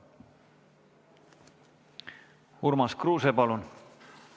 Urmas Kruuse, palun!